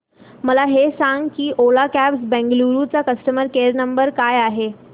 मला हे सांग की ओला कॅब्स बंगळुरू चा कस्टमर केअर क्रमांक काय आहे